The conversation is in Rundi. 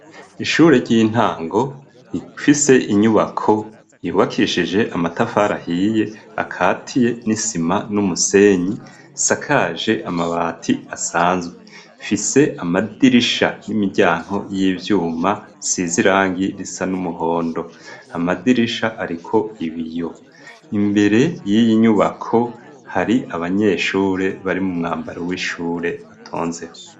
Ishure ry'intango rifise inyubako yubakishije amatafari ahiye, akatiye n'isima n'umusenyi, risakaje amabati asanzwe. Rifise amadirisha n'imiryango y'ivyuma isize irangi risa n'umuhondo. Amadirisha ariko ibiyo. Imbere y'iyi nyubako hari abanyeshure bari mu mwambaro w'ishure batonzeho.